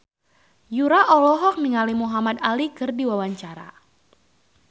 Yura olohok ningali Muhamad Ali keur diwawancara